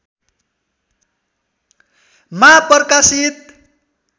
मा प्रकाशित